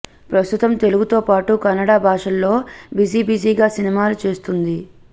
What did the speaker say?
ప్రస్తుతం తెలుగు తో పాటు కన్నడ భాషల్లో బిజీ బిజీ గా సినిమాలు చేస్తుంది